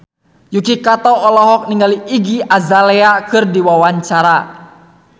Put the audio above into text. Yuki Kato olohok ningali Iggy Azalea keur diwawancara